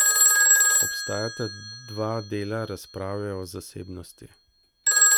Obstajata dva dela razprave o zasebnosti.